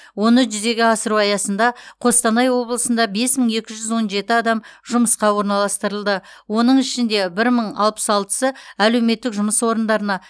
оны жүзеге асыру аясында қостанай облысында бес мың екі жүз он жеті адам жұмысқа орналастырылды оның ішінде бір мың алпыс алтысы әлеуметтік жұмыс орындарына